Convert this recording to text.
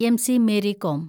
MC. Mary com